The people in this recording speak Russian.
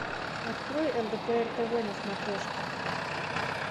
открой лдпр тв на смотрешке